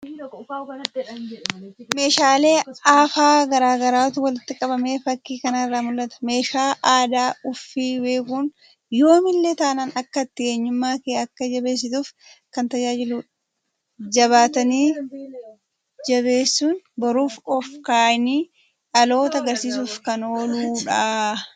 Meeshaalee aafaa garagaraatu walitti qabamee fakki kanarra mul'ata. Meeshaa aadaa ufii beekun yoomillee taanan akka ati eenyummaa kee akka jabeessituuf kan tajaajiluudha. Jabaatani jabeessun boruuf ol kaayanii dhalootaagarsiisuf kan ooludha.